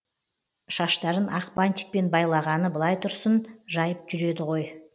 шаштарын ақ бантикпен байлағаны былай тұрсын жайып жүреді ғой